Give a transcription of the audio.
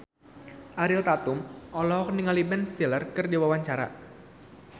Ariel Tatum olohok ningali Ben Stiller keur diwawancara